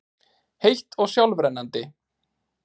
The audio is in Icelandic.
heitt og sjálfrennandi.